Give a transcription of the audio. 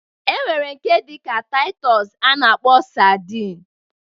E nwere nke dịka Taịtọs a na-akpọzi sadin